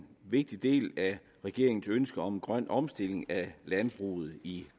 vigtig del af regeringens ønske om en grøn omstilling af landbruget i